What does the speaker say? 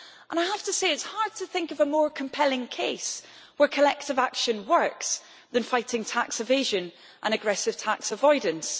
I have to say it is hard to think of a more compelling case where collective action works than fighting tax evasion and aggressive tax avoidance.